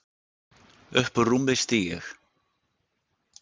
Upp úr rúmi stíg ég.